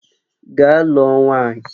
Gaa lụọ nwaanyị!